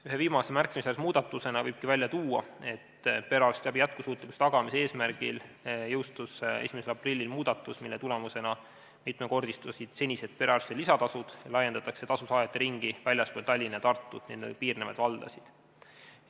Ühe viimase märkimisväärse muudatusena võibki esile tuua, et perearstiabi jätkusuutlikkuse tagamise eesmärgil jõustus 1. aprillil muudatus, mille tulemusena mitmekordistusid senised perearsti lisatasud ja laiendatakse tasu saajate ringi väljaspool Tallinnat-Tartut ja nendega piirnevaid valdasid.